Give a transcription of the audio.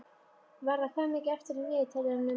Varða, hvað er mikið eftir af niðurteljaranum?